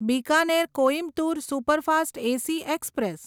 Bikaner Coimbatore superfast AC express